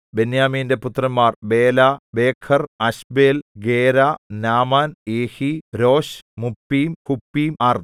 ബെന്യാമീന്റെ പുത്രന്മാർ Bela Becher Ashbel Gera Naaman Ehi Rosh Muppim Huppim അർദ്